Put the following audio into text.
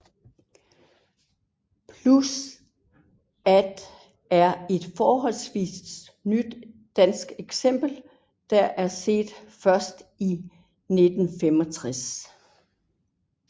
Plus at er et forholdsvist nyt dansk eksempel der er set først i 1965